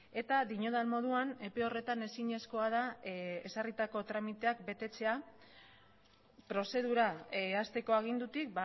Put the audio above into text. eta diodan moduan epe horretan ezinezkoa da ezarritako tramiteak betetzea prozedura hasteko agindutik